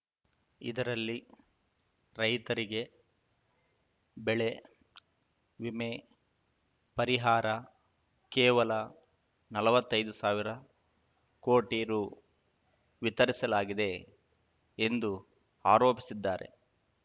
ಇದರಲ್ಲಿ ರೈತರಿಗೆ ಬೆಳೆ ವಿಮೆ ಪರಿಹಾರ ಕೇವಲ ನಲ್ವತ್ತೈದು ಸಾವಿರ ಕೋಟಿ ರು ವಿತರಿಸಲಾಗಿದೆ ಎಂದು ಆರೋಪಿಸಿದ್ದಾರೆ